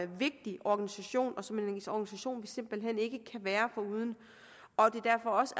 vigtig organisation og som en organisation vi simpelt hen ikke kan være foruden og det derfor også